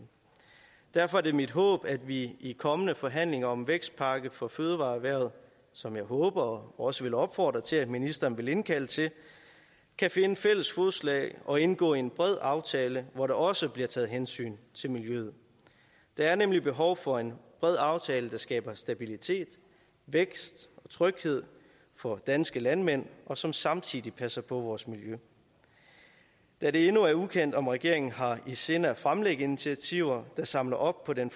derfor er det mit håb at vi i kommende forhandlinger om vækstpakke for fødevareerhvervet som jeg håber og også vil opfordre til at ministeren vil indkalde til kan finde fælles fodslag og indgå en bred aftale hvor der også bliver taget hensyn til miljøet der er nemlig behov for en bred aftale der skaber stabilitet vækst og tryghed for danske landmænd og som samtidig passer på vores miljø da det endnu er ukendt om regeringen har i sinde at fremlægge initiativer der samler op på den